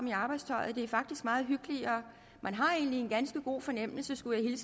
i arbejdstøjet det er faktisk meget hyggeligere man har egentlig en ganske god fornemmelse skulle jeg